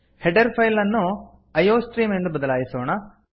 header file ಅನ್ನು iostream ಎಂದು ಬದಲಾಯಿಸೋಣ